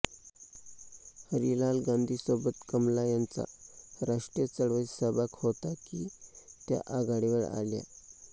हरिलाल गांधींसोबत कमला यांचा राष्ट्रीय चळवळीत सहभाग होता की त्या आघाडीवर आल्या